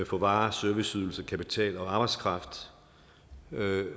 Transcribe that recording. for varer serviceydelser kapital og arbejdskraft